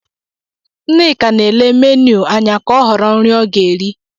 Nneka na-ele meniu anya ka ọ họrọ nri ọ ga-eri.